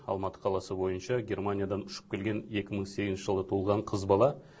алматы қаласы бойынша германиядан ұшып келген екі мың сегізінші жылы туылған қыз бала